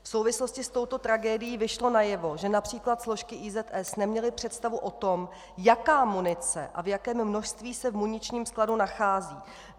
V souvislosti s touto tragédií vyšlo najevo, že například složky IZS neměly představu o tom, jaká munice a v jakém množství se v muničním skladu nachází.